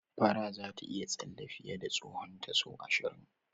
Fara zata iya tsalle fiye da tsahonta sau ashirin.